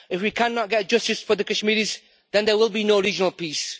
If we cannot get justice for the Kashmiris, then there will be no regional peace.